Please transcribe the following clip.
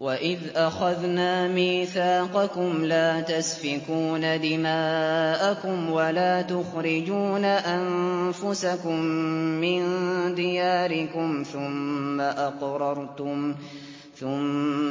وَإِذْ أَخَذْنَا مِيثَاقَكُمْ لَا تَسْفِكُونَ دِمَاءَكُمْ وَلَا تُخْرِجُونَ أَنفُسَكُم مِّن دِيَارِكُمْ ثُمَّ